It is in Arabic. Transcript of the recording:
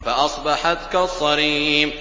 فَأَصْبَحَتْ كَالصَّرِيمِ